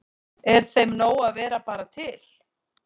Er þeim nóg að vera bara til?